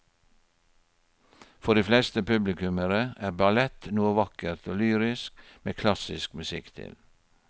For de fleste publikummere er ballett noe vakkert og lyrisk med klassisk musikk til.